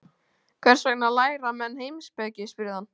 Hvers vegna læra menn heimspeki? spurði hann.